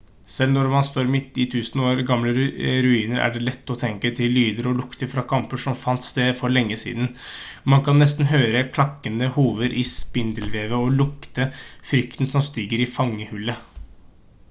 selv når man står midt i tusen år gamle ruiner er det lett å tenke seg til lyder og lukter fra kamper som fant sted for lenge siden man kan nesten høre klakkende hover i spindelvevet og lukte frykten som stiger i fangehullet